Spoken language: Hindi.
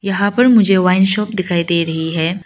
यहां पर मुझे वाइन शॉप दिखाई दे रही है।